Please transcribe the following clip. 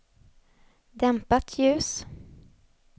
dämpat ljus